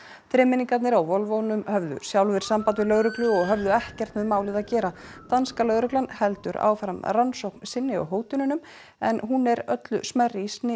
þremenningarnir á höfðu sjálfir samband við lögreglu og höfðu ekkert með málið að gera danska lögreglan heldur áfram rannsókn sinni á hótununum en hún er öllu smærri í